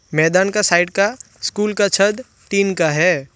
मैदान का साइड का स्कूल का छत टीन का है।